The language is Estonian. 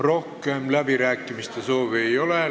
Rohkem läbirääkimiste soovi ei ole.